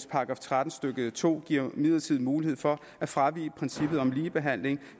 § tretten stykke to giver imidlertid mulighed for at fravige princippet om ligebehandling